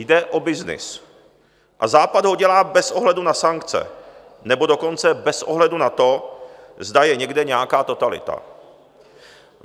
Jde o byznys a Západ ho dělá bez ohledu na sankce, nebo dokonce bez ohledu na to, zda je někde nějaká totalita.